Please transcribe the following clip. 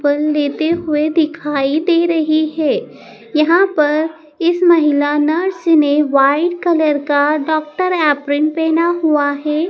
खून देते हुए दिखाई दे रही है यहाँ पर इस महिला नर्स ने व्हाइट कलर का डॉक्टर एप्रन पहेना हुआ हैं।